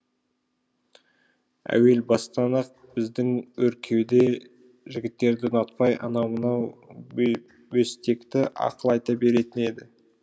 әуел бастан ақ біздің өркеуде жігіттерді ұнатпай анау мынау бөстекті ақыл айта беретін еді